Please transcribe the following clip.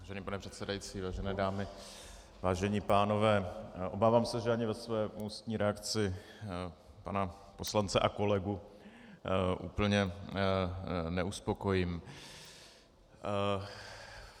Vážený pane předsedající, vážené dámy, vážení pánové, obávám se, že ani ve své ústní reakci pana poslance a kolegu úplně neuspokojím.